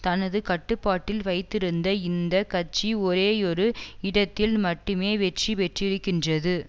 தனது கட்டுப்பாட்டில் வைத்திருந்த இந்த கட்சி ஒரேயொரு இடத்தில் மட்டுமே வெற்றி பெற்றிருகின்றது